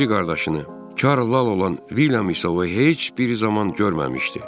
O biri qardaşını, Çarl Lal olan Vilyam isə heç bir zaman görməmişdi.